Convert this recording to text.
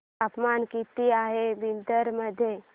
तापमान किती आहे बिदर मध्ये